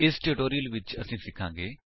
ਇਸ ਟਿਊਟੋਰਿਅਲ ਵਿੱਚ ਅਸੀ ਸਿਖਾਂਗੇ